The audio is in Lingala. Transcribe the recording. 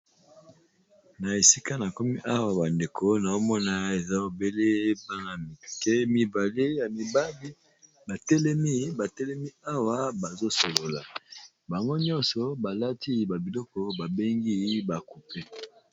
Na esika na komi awa ba ndeko nao mona eza obele bana mike mibale ya mibali, ba telemi ba telemi awa bazo solola bango nyonso balati ba biloko ba bengi ba coupe.